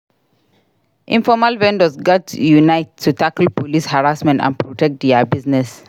Informal vendors gats unite to tackle police harassment and protect dia business.